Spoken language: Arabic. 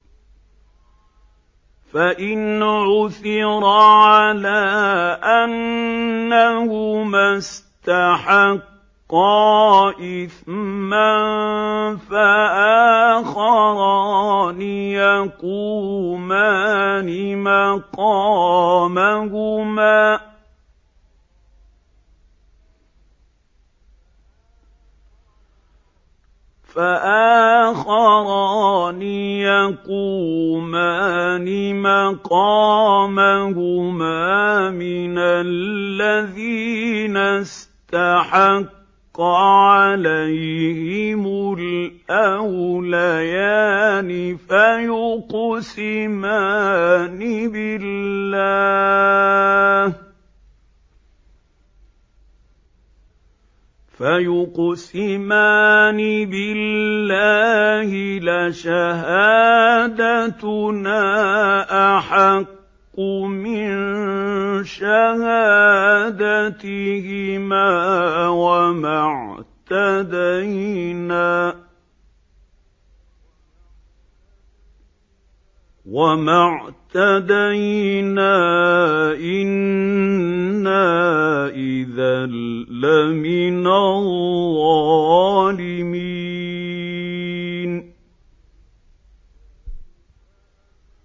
فَإِنْ عُثِرَ عَلَىٰ أَنَّهُمَا اسْتَحَقَّا إِثْمًا فَآخَرَانِ يَقُومَانِ مَقَامَهُمَا مِنَ الَّذِينَ اسْتَحَقَّ عَلَيْهِمُ الْأَوْلَيَانِ فَيُقْسِمَانِ بِاللَّهِ لَشَهَادَتُنَا أَحَقُّ مِن شَهَادَتِهِمَا وَمَا اعْتَدَيْنَا إِنَّا إِذًا لَّمِنَ الظَّالِمِينَ